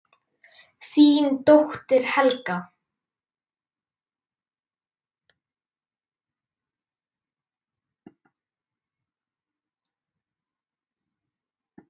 Þín dóttir, Helga.